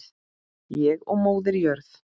Ég og Móðir jörð.